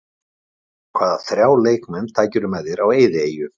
Hvaða þrjá leikmenn tækir þú með þér á eyðieyju?